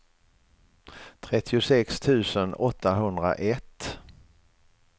trettiosex tusen åttahundraett